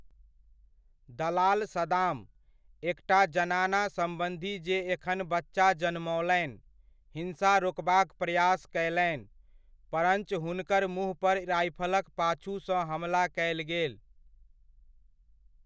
दलाल सदाम, एकटा जनाना सम्बन्धी जे एखन बच्चा जनमओलनि, हिंसा रोकबाक प्रयास कयलनि, परञ्च हुनकर मुँह पर राइफलक पाछुसँ हमला कयल गेल।